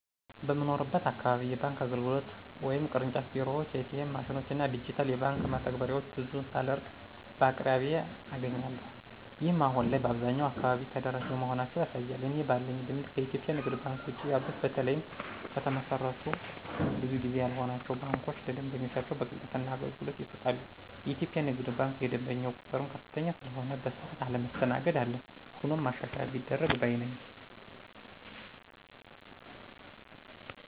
በምኖርበት አካባቢ የባንክ አገልግሎት (ቅርንጫፍ ቢሮዎችን፣ ኤ.ቲ.ኤም ማሽኖችን እና ዲጂታል የባንክ መተግበሪያዎችን ) ብዙ ሳልርቅ በአቅራቢያየ አገኛለሁ። ይህም አሁን ላይ በአብዛኛው አካባቢ ተደራሽ መሆናቸውን ያሳያል። እኔ ባለኝ ልምድ ከኢትዮጵያ ንግድ ባንክ ውጭ ያሉት በተለይም ከተመሰረቱ ብዙ ጊዜ ያልሆናቸው ባንኮች ለደንበኞቻቸው በቅልጥፍና አገልግሎት ይሰጣሉ። የኢትዮጵያ ንግድ ባንክ የደንበኛው ቁጥርም ከፍተኛ ስለሆነ በሰዓት አለመስተናገድ አለ። ሆኖም ማሻሻያ ቢደረግ ባይ ነኝ።